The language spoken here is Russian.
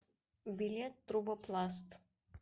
билет трубопласт